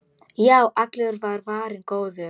Já, allur var varinn góður!